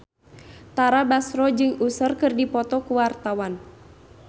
Tara Basro jeung Usher keur dipoto ku wartawan